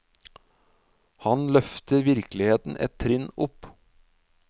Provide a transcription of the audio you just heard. Han løfter virkeligheten et trinn opp.